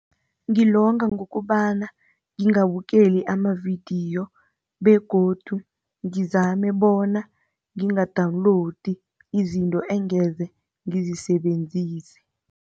Ngilonga ngokobana ngingabukeli amavidiyo begodu ngizame bona nginga-download izinto engeze ngizisebenzise.